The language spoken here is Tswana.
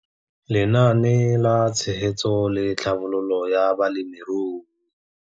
Lenaane la Tshegetso le Tlhabololo ya Balemirui.